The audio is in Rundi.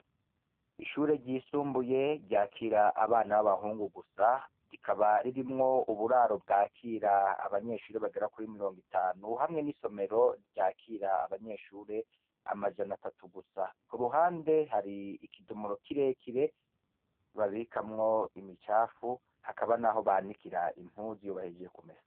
Ishure ryisumbuye ryakira abana b'abahungu gusa, rikaba ririmwo uburaro bwakira abanyeshure bagera kuri mirongo itanu, hamwe n'isomero ryakira abanyeshure amajana atatu gusa, ku ruhande hari ikidomoro kirekire babikamwo imicafu, hakaba, naho banikira impuzu iyo bahejeje kumesa.